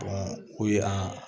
o ye an